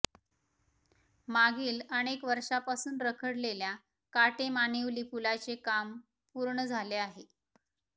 मागील अनेक वर्षापासून रखडलेल्या काटेमानिवली पुलाचे काम पूर्ण झाले आहे